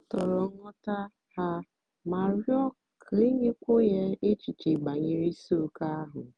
o tòrò nghọ́tá ha mà rịọ́ kà e nyékùwó ya èchìchè bànyèrè ìsìòké ahụ́.